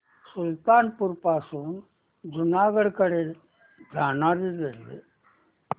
सुल्तानपुर पासून जुनागढ कडे जाणारी रेल्वे